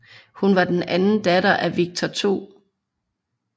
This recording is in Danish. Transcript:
Hun var den anden datter af Viktor 2